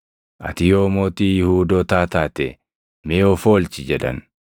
“Ati yoo mootii Yihuudootaa taate mee of oolchi” jedhan.